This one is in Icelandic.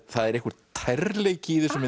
það er einhver tærleiki í þessum